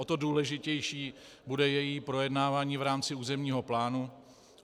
O to důležitější bude její projednávání v rámci územního plánu.